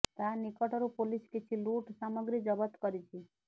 ତା ନିକଟରୁ ପୋଲିସ କିଛି ଲୁଟ୍ ସାମଗ୍ରୀ ଜବତ କରିଛି